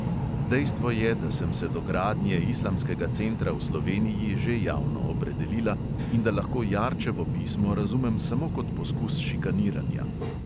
Dejstvo je, da sem se do gradnje islamskega centra v sloveniji že javno opredelila in da lahko jarčevo pismo razumem samo kot poskus šikaniranja.